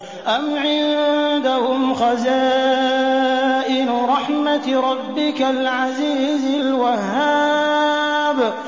أَمْ عِندَهُمْ خَزَائِنُ رَحْمَةِ رَبِّكَ الْعَزِيزِ الْوَهَّابِ